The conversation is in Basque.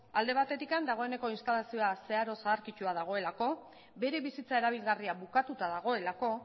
alde batetik dagoeneko zeharo zaharkitua dagoelako bere bizitza erabilgarria bukatuta dagoelako